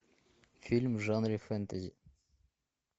фильм в жанре фэнтези